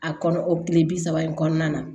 A kɔnɔ o kile bi saba in kɔnɔna na